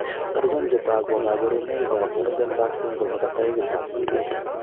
Achon chetogu ak kaborunoik ab Waardenburg syndrome nebo taipit ab 2A